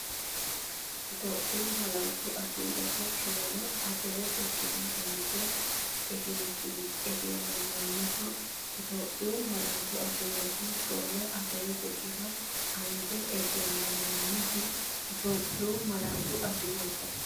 Itophiyu Malaatu Afii Roso 4 Abbebe Biqilihu anje egennaminoho Itophiyu Malaatu Afii Roso 4 Abbebe Biqilihu anje egennaminoho Itophiyu Malaatu Afii Roso.